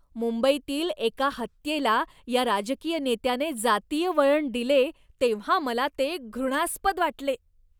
मुंबईतील एका हत्येला या राजकीय नेत्याने जातीय वळण दिले तेव्हा मला ते घृणास्पद वाटले.